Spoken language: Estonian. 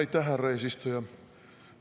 Aitäh, härra eesistuja!